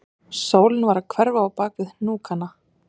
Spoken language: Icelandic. Sólin var að hverfa bak við hnúkana